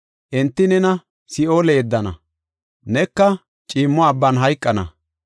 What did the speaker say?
Enti nena si7oole yeddana, neka ciimmo abban hayqana.